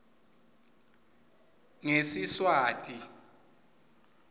ngesiswati